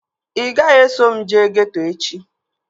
Ị gaghị eso m jee geeto echi